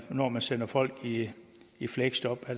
når man sender folk i i fleksjob